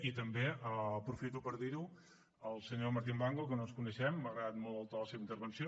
i també aprofito per dir al senyor martín blanco que no ens coneixem que m’ha agradat molt el to de la seva intervenció